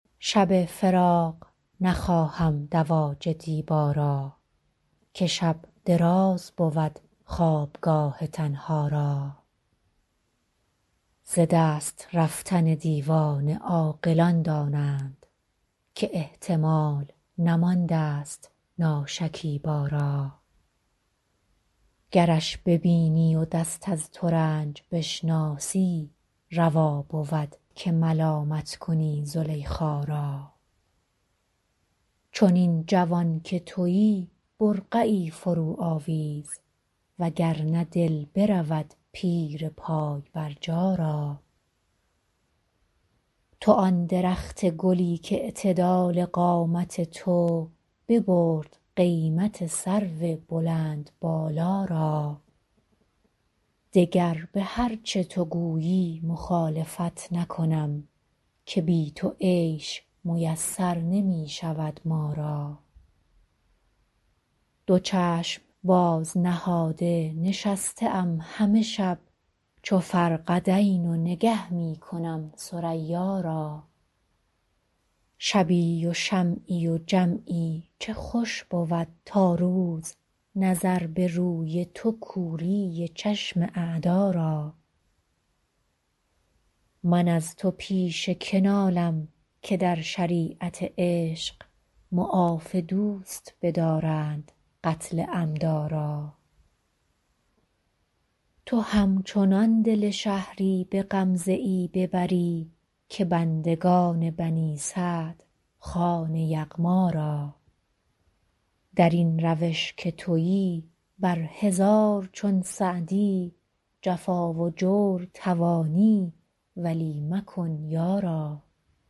شب فراق نخواهم دواج دیبا را که شب دراز بود خوابگاه تنها را ز دست رفتن دیوانه عاقلان دانند که احتمال نماندست ناشکیبا را گرش ببینی و دست از ترنج بشناسی روا بود که ملامت کنی زلیخا را چنین جوان که تویی برقعی فروآویز و گر نه دل برود پیر پای برجا را تو آن درخت گلی کاعتدال قامت تو ببرد قیمت سرو بلندبالا را دگر به هر چه تو گویی مخالفت نکنم که بی تو عیش میسر نمی شود ما را دو چشم باز نهاده نشسته ام همه شب چو فرقدین و نگه می کنم ثریا را شبی و شمعی و جمعی چه خوش بود تا روز نظر به روی تو کوری چشم اعدا را من از تو پیش که نالم که در شریعت عشق معاف دوست بدارند قتل عمدا را تو همچنان دل شهری به غمزه ای ببری که بندگان بنی سعد خوان یغما را در این روش که تویی بر هزار چون سعدی جفا و جور توانی ولی مکن یارا